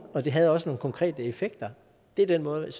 og det havde også nogle konkrete effekter det er den måde